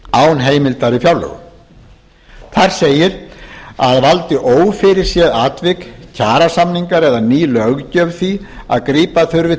án heimildar í fjárlögum þar segir að valdi ófyrirséð atvik kjarasamningar eða ný löggjöf því að grípa þurfi